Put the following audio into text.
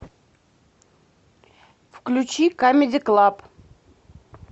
включи камеди клаб